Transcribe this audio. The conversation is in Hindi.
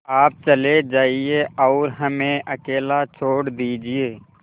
आप चले जाइए और हमें अकेला छोड़ दीजिए